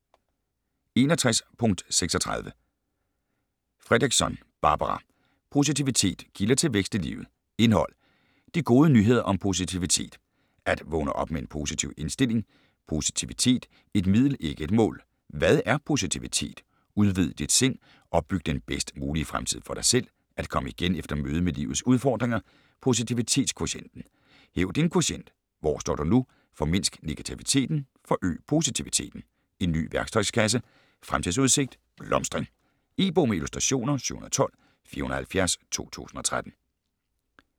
61.36 Fredrickson, Barbara: Positivitet: kilder til vækst i livet Indhold: De gode nyheder om positivitet (At vågne op med en positiv indstilling, Positivitet: et middel ikke et mål, Hvad er positivitet?, Udvid dit sind, Opbyg den bedst mulige fremtid for dig selv, At komme igen efter mødet med livets udfordringer, Posivititetskvotienten), Hæv din kvotient (Hvor står du nu, Formindsk negativiteten, Forøg positiviteten, En ny værktøjskasse, Fremtidsudsigt: blomstring). E-bog med illustrationer 712470 2013.